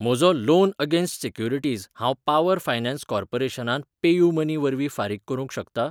म्हजो loan against securities हांव power finance कॉर्पोरेशनांत पेयूमनी वरवीं फारीक करूंक शकतां?